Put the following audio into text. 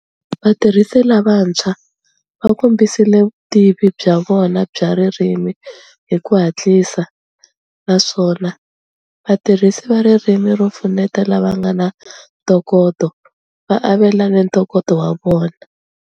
Vatirhisi lavantshwa va kombisile vutivi bya vona bya ririmi hi ku hatlisa, naswona vatirhisi va ririmi ro pfuneta lava nga na ntokoto va avelane ntokoto wa vona.